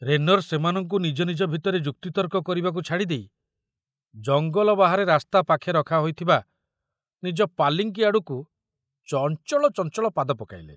ରେନର ସେମାନଙ୍କୁ ନିଜ ନିଜ ଭିତରେ ଯୁକ୍ତିତର୍କ କରିବାକୁ ଛାଡ଼ିଦେଇ ଜଙ୍ଗଲ ବାହାରେ ରାସ୍ତା ପାଖେ ରଖା ହୋଇଥିବା ନିଜ ପାଲିଙ୍କି ଆଡ଼କୁ ଚଞ୍ଚଳ ଚଞ୍ଚଳ ପାଦ ପକାଇଲେ।